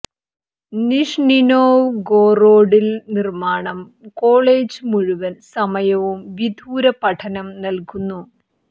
Nizhny Novgorod ൽ നിർമ്മാണം college മുഴുവൻ സമയവും വിദൂര പഠനം നൽകുന്നു